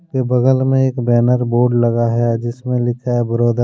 के बगल में एक बैनर बोर्ड लगा है जिसमें लिखा है ब्रदर ।